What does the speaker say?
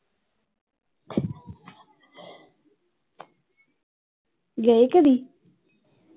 ਗਏ ਕਦੀ